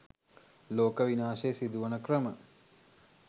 ලෝක විනාශය සිදුවන ක්‍රම